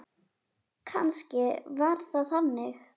Kannski var það þannig.